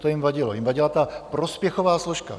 To jim vadilo, jim vadila ta prospěchová složka.